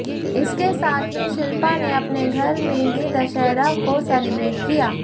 इसके साथ ही शिल्पा ने अपने घर में ही दशहरा को सेलिब्रेट किया